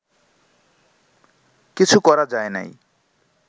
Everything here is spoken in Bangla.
কিছু করা যায় নাই